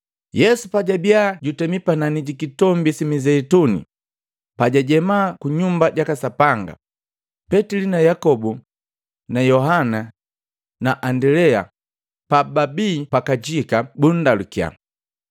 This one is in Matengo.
Yesu pajabia jutemi panani ji Kitombi si Mizeituni pajajenda ku Nyumba jaka Sapanga, Petili na Yakobu na Yohana na Andilea pababi pakajika bunndalukiya,